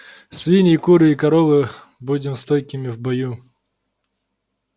свиньи куры и коровы будем стойкими в бою